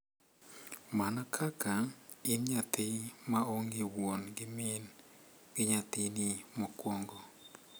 Mana kaka, in nyathi ma onge wuon gi min gi nyathini mokwongo.